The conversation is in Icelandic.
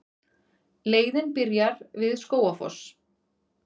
Leiðin byrjar við Skógafoss.